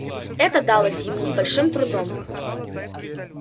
это далось ему с большим трудом